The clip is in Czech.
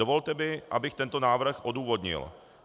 Dovolte mi, abych tento návrh odůvodnil.